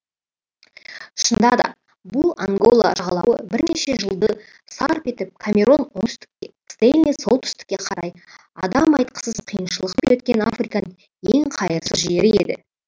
шынында да бұл ангола жағалауы бірнеше жылды сарп етіп камерон оңтүстікке стенли солтүстікке қарай адам айтқысыз қиыншылықпен өткен африканың ең қайырсыз жері еді